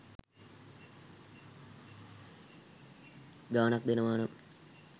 ගාණක් දෙනවනම්